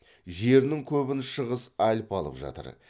жерінің көбін шығыс альпі алып жатыр